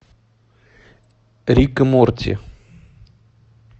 рик и морти